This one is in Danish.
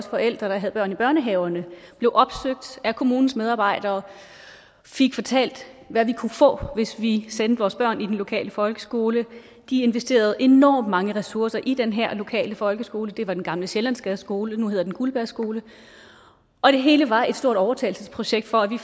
forældre der havde børn i børnehaverne blev opsøgt af kommunens medarbejdere og fik fortalt hvad vi kunne få hvis vi sendte vores børn i den lokale folkeskole de investerede enormt mange ressourcer i den her lokale folkeskole det var den gamle sjællandsgades skole nu hedder den guldberg skole og det hele var et stort overtalelsesprojekt for at vi